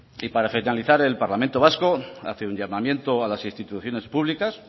y para finalizar el parlamento vasco hace un llamamiento a las instituciones públicas